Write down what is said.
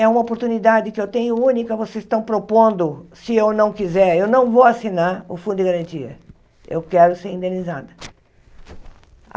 É uma oportunidade que eu tenho única, vocês estão propondo, se eu não quiser, eu não vou assinar o Fundo de Garantia, eu quero ser indenizada.